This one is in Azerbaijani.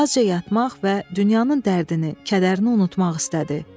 Azca yatmaq və dünyanın dərdini, kədərini unutmaq istədi.